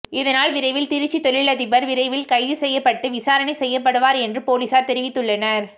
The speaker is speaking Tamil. இதனால் விரைவில் திருச்சி தொழிலதிபர் விரைவில் கைது செய்யப்பட்டு விசாரணை செய்யப்படுவார் என்றும் போலீசார் தெரிவித்துள்ளனர்